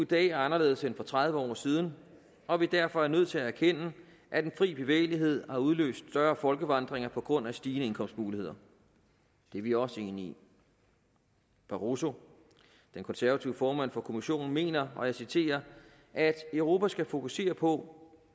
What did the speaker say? dag er anderledes end for tredive år siden og at vi derfor er nødt til at erkende at den frie bevægelighed har udløst større folkevandringer på grund af stigende indkomstmuligheder det er vi også enige i barroso den konservative formand for kommissionen mener og jeg citerer at europa skal fokusere på